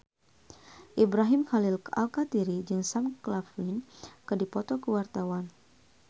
Ibrahim Khalil Alkatiri jeung Sam Claflin keur dipoto ku wartawan